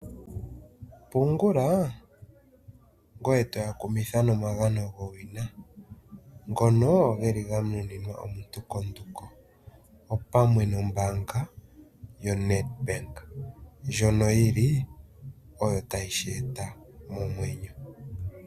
Pungula ngoye toya kumitha nomagano gowina ngono geli ganuninwa omuntu opamwe nombaanga yoNedbank , ndjono yili oyo tayi shi eta momwenyo.